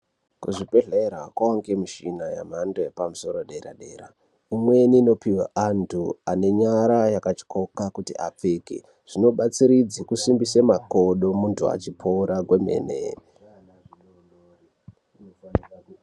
Kuzvibhedhlera kunoonekwe michini nemhando yepamsoro yedera dera, imweni inopihwa antu anenyara yakatyoka kuti apfeke zvinobatsiridze kusimbisa makodo muntu achipora kwemene.